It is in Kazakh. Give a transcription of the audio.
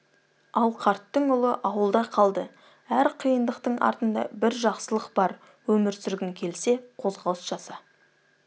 ал қарттың ұлы ауылда қалды әр қиындықтың артында бір жақсылық бар өмір сүргің келсе қозғалыс жаса